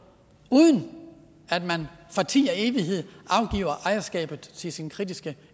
uden at man for tid og evighed afgiver ejerskabet til sin kritiske